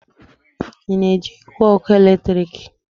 Ị na-eji igwe ọkụ eletrik?